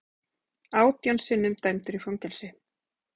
Átján sinnum dæmdur í fangelsi